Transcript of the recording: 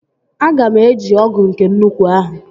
Aga m eji ọgụ nke nnukwu ahụ